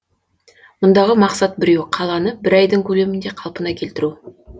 мұндағы мақсат біреу қаланы бір айдың көлемінде қалпына келтіру